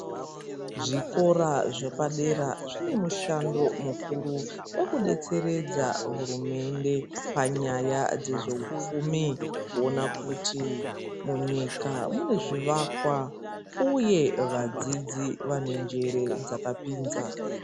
Zvikora zvepadera zvine mushando mukuru wekudetseredza hurumende panyaya dzezveupfumi kuona kuti munyika mune zvivakwa uye vadzidzi vane njere dzakapinza.